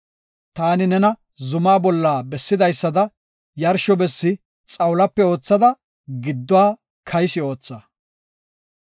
Taani nena zumaa bolla bessidaysada yarsho bessi xawulape oothada, gidduwa kaysi ootha.”